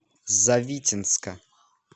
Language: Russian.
завитинска